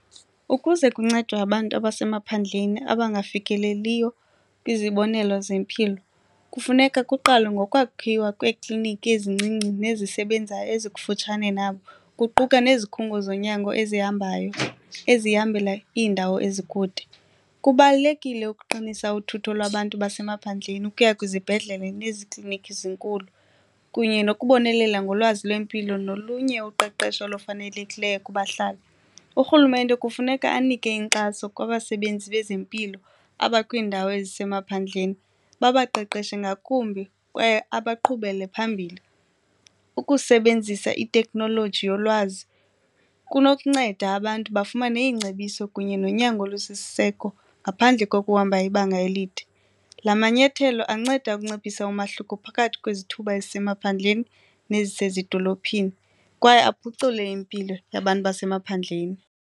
Ukuze kuncedwe abantu abasemaphandleni abangafikeleliyo kwizibonelo zempilo kufuneka kuqalwe ngokwakhiwa kweekliniki ezincinci nezisebenzayo ezikufutshane nabo kuquka nezikhungo zonyango ezihambayo ezihambela iindawo ezikude. Kubalulekile ukuqinisa uthutho lwabantu basemaphandleni ukuya kwizibhedlele nezi klinikhi zinkulu kunye nokubonelela ngolwazi lwempilo nolunye uqeqesho olufanelekileyo kubahlali. Urhulumente kufuneka anike inkxaso kwabasebenzi bezempilo abakwiindawo ezisemaphandleni babaqeqeshe ngakumbi kwaye abaqhubele phambili, ukusebenzisa itekhnoloji yolwazi kunokunceda abantu bafumane iingcebiso kunye nonyango olusisiseko ngaphandle kokuhamba ibanga elide. La manyathelo anceda ukunciphisa umahluko phakathi kwezithuba ezisemaphandleni nezisezidolophini kwaye aphucule impilo yabantu basemaphandleni.